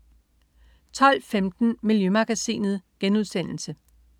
12.15 Miljømagasinet*